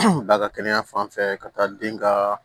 Ba ka kɛnɛya fanfɛ ka taa den ka